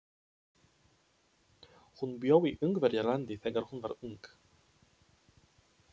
Hún bjó í Ungverjalandi þegar hún var ung.